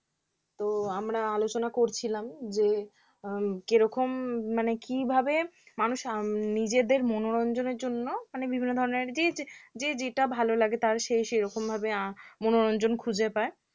তো আমরা আলোচনা করছিলাম যে উম কি রকম মানে কিভাবে মানুষ নিজেদের মনোরঞ্জনের জন্য বিভিন্ন ধরনের আর কি যে যেটা ভালো লাগে তার সে সেরকমভাবে আহ মনোরঞ্জন খুঁজে পায়